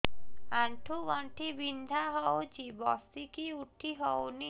ଆଣ୍ଠୁ ଗଣ୍ଠି ବିନ୍ଧା ହଉଚି ବସିକି ଉଠି ହଉନି